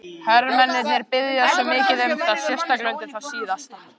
Hermennirnir biðja svo mikið um það, sérstaklega undir það síðasta.